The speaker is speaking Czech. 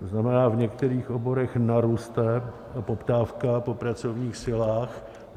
To znamená, v některých oborech naroste poptávka po pracovních silách.